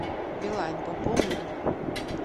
билайн пополни